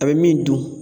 A bɛ min dun